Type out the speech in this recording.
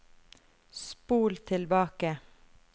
spol tilbake